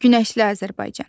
Günəşli Azərbaycan.